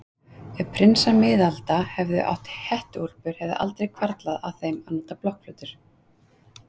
Ef prinsar miðalda hefðu átt hettuúlpur hefði aldrei hvarflað að þeim að nota blokkflautur.